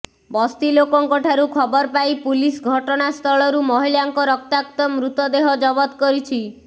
ବସ୍ତି ଲୋକଙ୍କଠାରୁ ଖବର ପାଇ ପୁଲିସ ଘଟଣାସ୍ଥଳରୁ ମହିଳାଙ୍କ ରକ୍ତାକ୍ତ ମୃତଦେହ ଜବତ କରିଛି